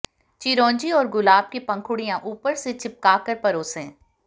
चिरौंजी और गुलाब की पंखुड़ियां ऊपर से चिपकाकर परोसें